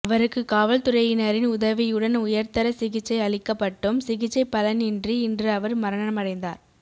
அவருக்கு காவல்துறையினரின் உதவியுடன் உயர்தர சிகிச்சை அளிக்கப்பட்டும் சிகிச்சை பலனின்றி இன்று அவர் மரணமடைந்தார்